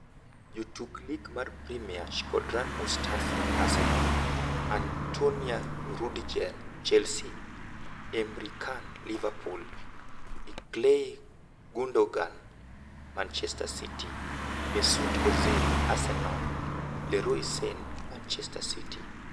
Jotuk lig mar Premia: Shkodran Mustafi (Arsenal), Antonio Rudiger (Chelsea), Emre Can (Liverpool), Ilkay Gundogan (Manchester City), Mesut Ozil (Arsenal), Leroy Sane (Manchester City).